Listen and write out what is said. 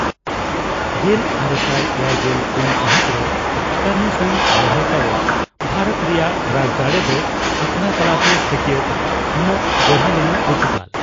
ᱜᱮᱞ ᱟᱨᱮᱥᱟᱭ ᱮᱭᱟᱭᱜᱮᱞ ᱯᱩᱱ ᱥᱟᱹᱦᱤᱛ ᱨᱮ ᱠᱟᱨᱱᱮᱥᱚᱱ ᱞᱟᱹᱲᱦᱟᱹᱭ ᱛᱟᱭᱚᱢ ᱵᱷᱟᱨᱚᱛ ᱨᱮᱭᱟᱜ ᱨᱟᱡᱽᱫᱟᱲᱮ ᱫᱚ ᱟᱠᱷᱲᱟ ᱛᱟᱞᱟᱛᱮ ᱥᱟᱹᱠᱭᱟᱹᱛ ᱮᱢᱚᱜ ᱵᱚᱲᱦᱮ ᱞᱮᱱᱟ ᱯᱚᱨᱛᱩᱜᱟᱞ ᱾